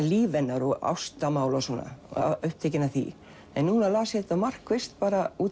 líf hennar og ástarmál og svona var upptekin af því en núna las ég þetta markvisst út